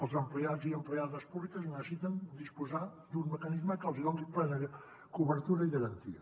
els empleats i empleades públiques necessiten disposar d’un mecanisme que els hi doni plena cobertura i garantia